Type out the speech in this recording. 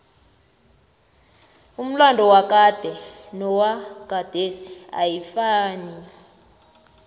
umlado wakade nowagadesi ayifanai